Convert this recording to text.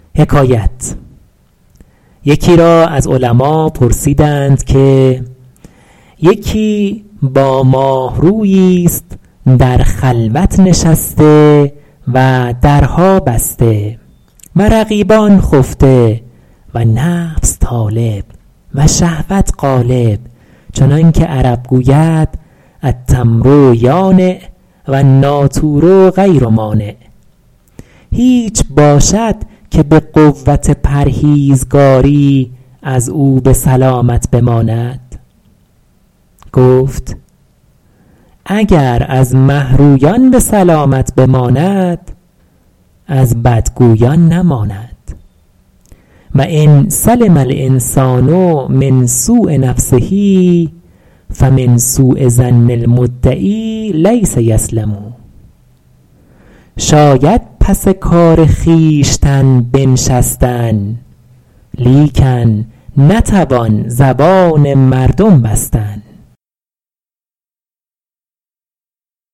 یکی را از علما پرسیدند که یکی با ماهروییست در خلوت نشسته و درها بسته و رقیبان خفته و نفس طالب و شهوت غالب چنان که عرب گوید التمر یانع و النٰاطور غیر مانع هیچ باشد که به قوت پرهیزگاری از او به سلامت بماند گفت اگر از مهرویان به سلامت بماند از بدگویان نماند و ان سلم الإنسان من سوء نفسه فمن سوء ظن المدعی لیس یسلم شاید پس کار خویشتن بنشستن لیکن نتوان زبان مردم بستن